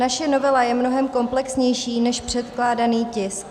Naše novela je mnohem komplexnější než předkládaný tisk.